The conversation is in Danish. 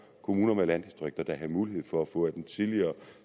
kommuner med landdistrikter der havde mulighed for at få af den tidligere